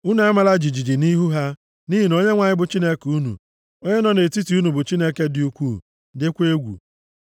Unu amala jijiji nʼihu ha, nʼihi na Onyenwe anyị bụ Chineke unu, onye nọ nʼetiti unu bụ Chineke dị ukwuu, dịkwa egwu.